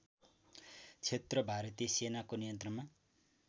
क्षेत्र भारतीय सेनाको नियन्त्रणमा